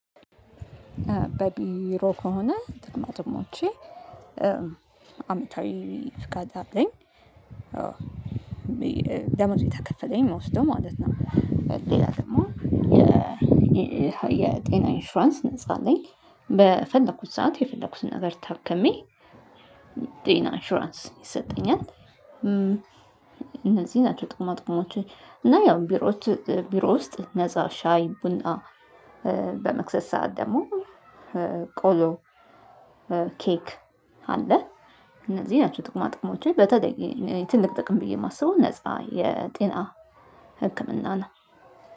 በቢሮ ከሆነ ድግሞ አመታዊ ስጋት አለኝ ደሞዝ ቤት አከፈለኝ መውሰድ ማለት ነው። ሌላ ደግሞ የ የጤና ኢንፍራንስ ነፃ ላይ በፈለኩት ሰዓት የፈለኩትን ነገር ታከሜ። ጤና ኢንሹራንስ ይሰጠኛል እነዚህ ናቸው። ጥቁማ ጥቁሞችን እና ያው ቢሮዎች ቢሮ ውስጥ ነፃ ሻይ ቡና በመክሰስ ሰዓት ደግሞ ቆሎ ኬክ አለ። እነዚህ ናቸው ጥቁማ ጥቁሞቼ በተጠየቅ ትልቅ ጥቅም ብዬ የማስበው ነፃ የጤና ህክምና ነው።